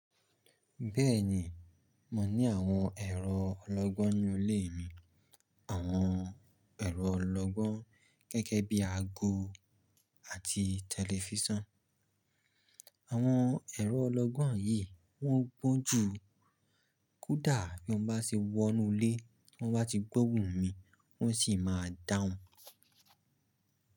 Bẹ́ẹ̀ni, mo ní àwọn ẹ̀rọ ọlọ́gbọ́n nínu ilé mi. Àwọn ẹ̀rọ ọlọ́gbọ́n gẹ́gẹ́ bí àgò àti tẹlifísàn. Àwọn ẹ̀rọ ọlọ́gbọ́n yìí wọ́n gbọ́n ju kódà bí mo bá ṣe wọ inú ilé, wọ́n bá ti gbọ́ ohùn mí wọ́n sì máa dáhùn.